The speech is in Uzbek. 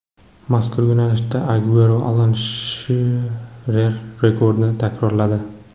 Mazkur yo‘nalishda Aguero Alan Shirer rekordini takrorladi.